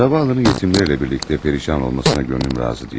Zavalının yetimlərlə birlikdə perişan olmasına könlüm razı deyil.